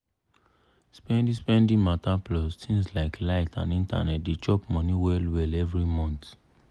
spendi-spendi matter plus tins like light and internet dey chop money well-well every month.